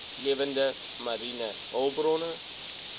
lewende mariene hulpbronne